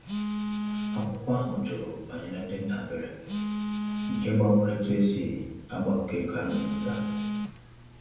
Akwụkwọ ahụ jụrụ banyere ndị ndabere, nke gbanwere etu e si agbakọ ego a na-enwete.